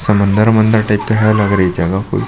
समंदर -अमंदर टाइप के है लागरी ए जगह कोई --